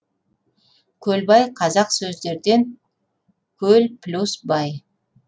көлбаи қазақ сөздерден көл плюс бай